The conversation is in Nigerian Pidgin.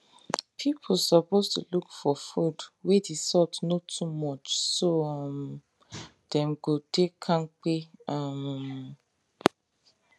people suppose to look for food wey the salt no too much so um dem go dey kampe um